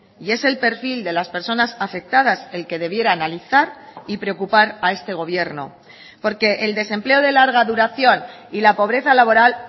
y es el perfil de las personas afectadas el que debiera analizar y preocupar a este gobierno porque el desempleo de larga duración y la pobreza laboral